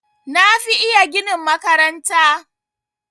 Na fi iya ginin makaranta.